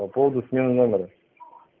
по поводу смены номера